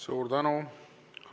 Suur tänu!